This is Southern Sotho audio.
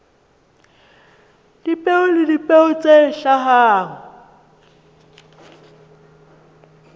dipeo le dipeo tse hlahang